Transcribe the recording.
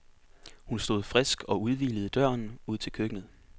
Hun stod frisk og udhvilet i døren ud til køkkenet.